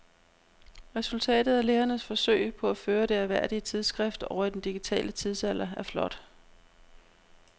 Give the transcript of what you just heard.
Resultatet af lægernes forsøg på at føre det ærværdige tidsskrift over i den digitale tidsalder er flot.